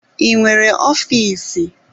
I nwere ofiisi?